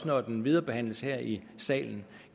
når den viderebehandles her i salen